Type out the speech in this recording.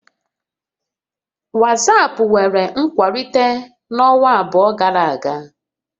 WhatsApp nwere nkwalite n'ọnwa abụọ gara aga